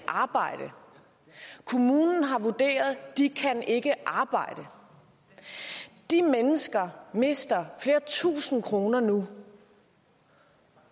arbejde kommunen har vurderet at de ikke arbejde de mennesker mister flere tusind kroner nu